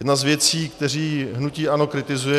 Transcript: Jedna z věcí, které hnutí ANO kritizuje.